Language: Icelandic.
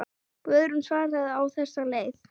Guðrún svaraði á þessa leið.